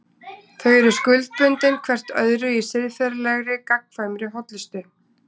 Þau eru skuldbundin hvert öðru í siðferðilegri, gagnkvæmri hollustu.